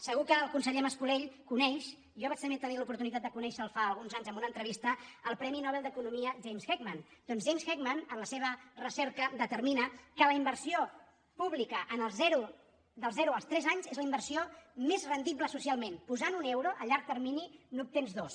segur que el conseller mas·colell coneix jo vaig te·nir oportunitat de conèixer·lo fa alguns anys en una entrevista el premi nobel d’economia james heck·man doncs james heckman en la seva recerca deter·mina que la inversió pública dels zero als tres anys és la inversió més rendible socialment posant·hi un euro a llarg termini n’obtens dos